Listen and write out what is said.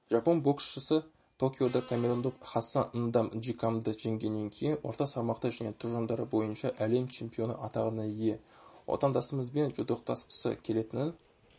жапон боксшысы токиода камерундық хассан ндам нжикамды жеңгеннен кейін орта салмақта және тұжырымдары бойынша әлем чемпионы атағына ие отандасымызбен жұдырықтасқысы келетінін